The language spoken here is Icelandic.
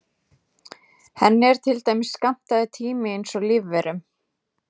Henni er til dæmis skammtaður tími eins og lífverum.